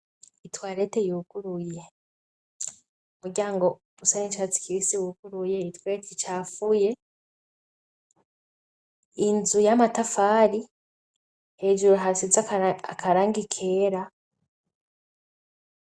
Itwarete yuguruye, uryango usa nicatsi kibisi wuguruye, itwarete icafuye inzu y'amatafari hejuru hasize akarangi kera.